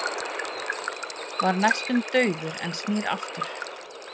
Var næstum dauður en snýr aftur